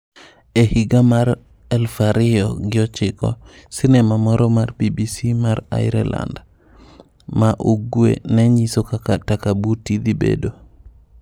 E higa mar 2009, sinema moro mar BBC mar Ireland ma Ugwe ne nyiso kaka Takabuti dhibedo.